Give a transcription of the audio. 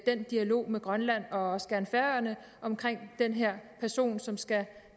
den dialog med grønland og også gerne færøerne om den her person som skal